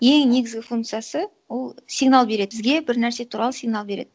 ең негізгі функциясы ол сигнал береді бізге бір нәрсе туралы сигнал береді